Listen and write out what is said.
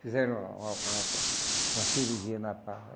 Fizeram uma uma uma ope uma cirurgia na Pá.